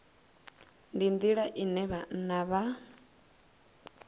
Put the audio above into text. ndi nḓila ine vhanna vha